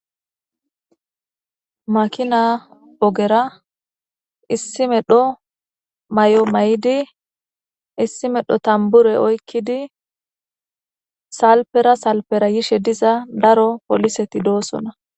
Makina ogera issi medho mayo mayidi issi medho tanbure oykkidi salpera salpera yishe diza daro poliseti doosona.